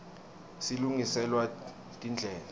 silungiselwa tindlela